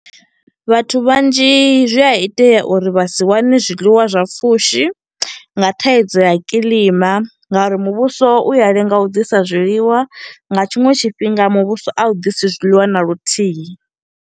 Vhathu vhanzhi zwi a itea uri vha si wane zwiḽiwa zwa pfushi, nga thaidzo ya kiḽima, nga uri muvhuso u ya lenga u ḓisa zwiḽiwa. Nga tshiṅwe tshifhinga muvhuso a u ḓisi zwiḽiwa na luthihi.